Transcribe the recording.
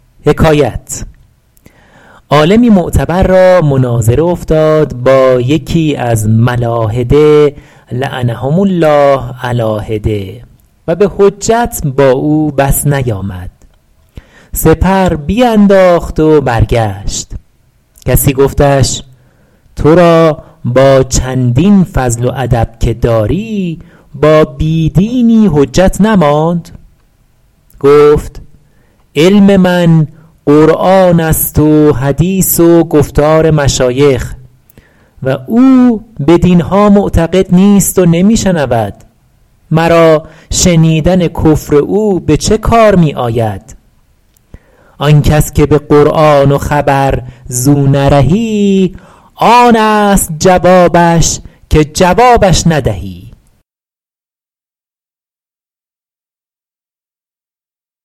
عالمی معتبر را مناظره افتاد با یکی از ملاحده لعنهم الله علیٰ حدة و به حجت با او بس نیامد سپر بینداخت و برگشت کسی گفتش تو را با چندین فضل و ادب که داری با بی دینی حجت نماند گفت علم من قرآن است و حدیث و گفتار مشایخ و او بدین ها معتقد نیست و نمی شنود مرا شنیدن کفر او به چه کار می آید آن کس که به قرآن و خبر زو نرهی آن است جوابش که جوابش ندهی